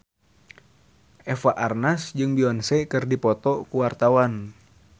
Eva Arnaz jeung Beyonce keur dipoto ku wartawan